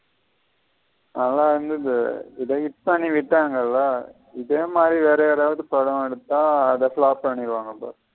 நல்ல இருந்தது பண்ணி விட்டங்கள. இதே மாதிரி வேற யாராவது படம் எடுத்த அத flop பண்ணிருவாங்க பாரு.